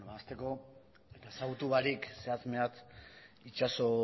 hasteko ezagutu barik zehatz mehatz itxaso